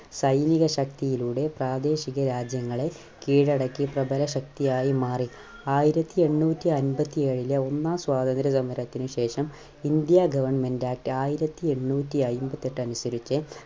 സൈനിക ശക്തിയിലൂടെ പ്രാദേശിക രാജ്യങ്ങളെ കീഴടക്കി പ്രബല ശക്തിയായി മാറി. ആയിരത്തിഎണ്ണൂറ്റി അമ്പത്തിയേഴിലെ ഒന്നാം സ്വാതന്ത്ര്യ സമരത്തിന് ശേഷം ഇന്ത്യ Government Act ആയിരത്തിഎണ്ണൂറ്റി അയിമ്പത്തെട്ട്‍ അനുസരിച്ച്